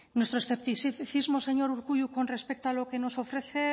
nuestro escepticismo señor urkullu con respecto a lo que nos ofrece